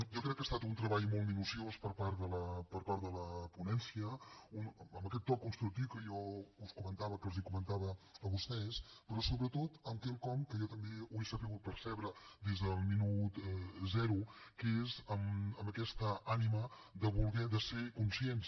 jo crec que ha estat un treball molt minuciós per part de la ponència amb aquest to constructiu que jo els comentava a vostès però sobretot amb quelcom que jo també he sabut percebre des del minut zero que és aquesta ànima de ser conscients